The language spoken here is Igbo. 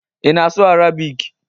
Ị na-asụ Arabic?